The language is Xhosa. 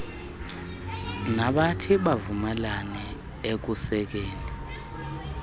nabathi bavumelane ekusekeni